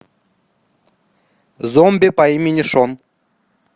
зомби по имени шон